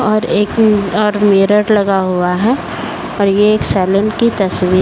और एक और मिरर लगा हुआ है और ये एक सैलून की तस्वीर --